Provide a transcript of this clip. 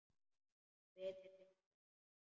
Svitinn lekur af honum.